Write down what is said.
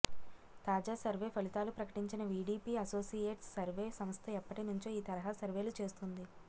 తాజా సర్వే ఫలితాలు ప్రకటించిన వీడీపీ అసోసియేట్స్ సర్వే సంస్థ ఎప్పటినుంచో ఈ తరహా సర్వే లు చేస్తోంది